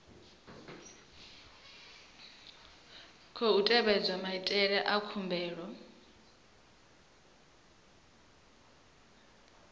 khou tevhedzwa maitele a khumbelo